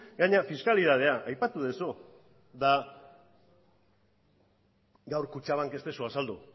gainera fiskalitatea aipatu duzu gaur kutxabank ez duzu azaldu